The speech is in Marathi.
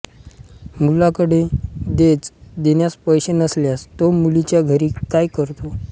मुलाकडे देज देण्यास पैसे नसल्यास तो मुलीच्या घरी काम करतो